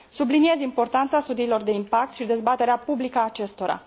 Subliniez importanța studiilor de impact și dezbaterea publică a acestora.